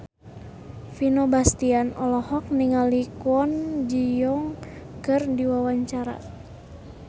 Vino Bastian olohok ningali Kwon Ji Yong keur diwawancara